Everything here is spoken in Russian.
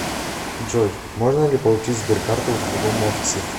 джой можно ли получить сберкарту в другом офисе